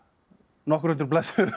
nokkur hundruð blaðsíður